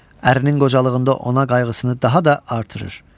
Ərinin qocalığında ona qayğısını daha da artırır.